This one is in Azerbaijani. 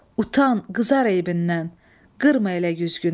Utan, qızar eybindən, qırma elə güzgünü.